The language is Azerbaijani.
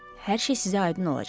Hər şey sizə aydın olacaq.